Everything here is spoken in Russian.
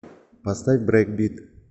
поставь брейкбит